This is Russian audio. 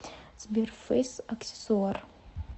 сбер фэйс аксессуар